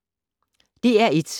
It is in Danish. DR1